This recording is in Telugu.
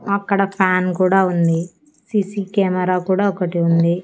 అక్కడ ఫ్యాన్ కూడా ఉంది సి_సి కెమెరా కూడా ఒకటి ఉంది.